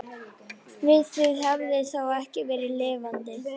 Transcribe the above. Við það hefði þó ekki verið lifandi.